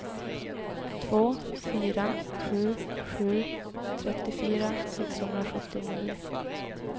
två fyra sju sju trettiofyra sexhundrasjuttionio